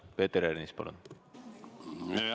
Peeter Ernits, palun!